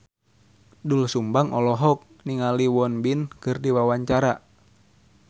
Doel Sumbang olohok ningali Won Bin keur diwawancara